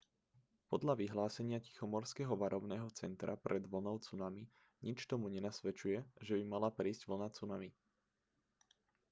podľa vyhlásenia tichomorského varovného centra pred vlnou cunami nič tomu nenasvedčuje že by mala prísť vlna cunami